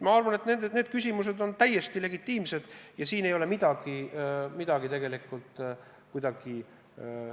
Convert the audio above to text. Ma arvan, et need küsimused on täiesti legitiimsed ja siin ei ole midagi karta.